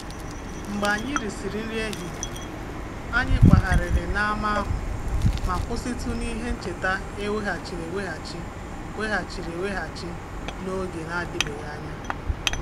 Mgbe anyị risịrị nri ehihie, anyị gagharịrị ma kwụsị ka anyị hụrụ ihe ncheta emezigharịrị n'oge na-adịbeghị anya.